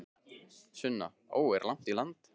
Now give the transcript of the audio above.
Sunna: Ó, er langt í land?